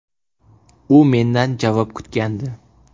U mendan javob kutgandi.